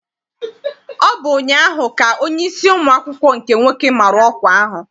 Ọ bụ ụnyaahụ ka onyeisi ụmụ akwụkwọ nke nwoke mara ọkwa ahụ.